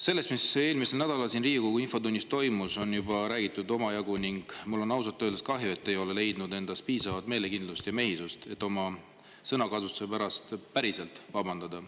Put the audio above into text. Sellest, mis eelmisel nädalal siin Riigikogu infotunnis toimus, on juba räägitud omajagu ning mul on ausalt öeldes kahju, et te ei ole leidnud endas piisavalt meelekindlust ja mehisust, et oma sõnakasutuse pärast päriselt vabandada.